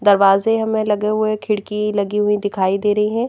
दरवाजे हमें लगे हुए खिड़की लगी हुई दिखाई दे रही हैं।